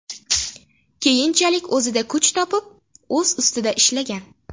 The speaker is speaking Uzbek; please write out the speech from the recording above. Keyinchalik o‘zida kuch topib, o‘z ustida ishlagan.